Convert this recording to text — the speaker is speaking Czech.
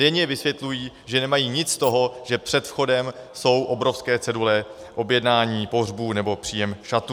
Denně vysvětlují, že nemají nic z toho, že před vchodem jsou obrovské cedule objednání pohřbů nebo příjem šatů.